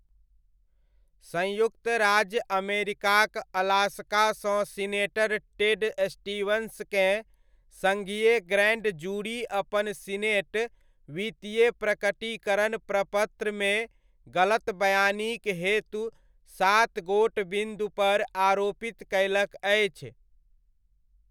संयुक्त राज्य अमेरिकाक अलास्कासँ सीनेटर टेड स्टीवंसकेँ सङ्घीय ग्रैण्ड जूरी अपन सीनेट वित्तीय प्रकटीकरण प्रपत्रमे गलतबयानीक हेतु सातगोट बिन्दु पर आरोपित कयलक अछि।